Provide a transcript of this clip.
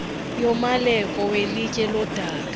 yomaleko welitye lodaka